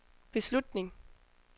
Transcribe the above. beslutning